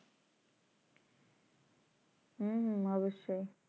হুম অবশ্যই